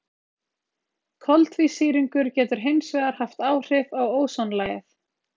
Koltvísýringur getur hins vegar haft áhrif á ósonlagið.